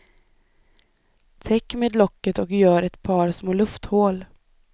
Täck med locket och gör ett par små lufthål.